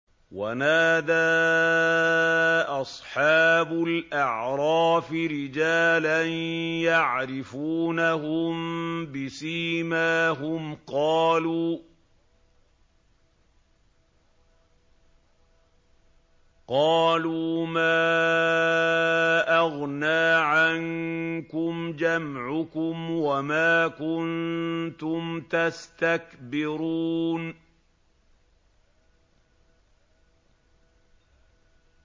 وَنَادَىٰ أَصْحَابُ الْأَعْرَافِ رِجَالًا يَعْرِفُونَهُم بِسِيمَاهُمْ قَالُوا مَا أَغْنَىٰ عَنكُمْ جَمْعُكُمْ وَمَا كُنتُمْ تَسْتَكْبِرُونَ